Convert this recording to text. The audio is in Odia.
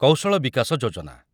କୌଶଳ ବିକାଶ ଯୋଜନା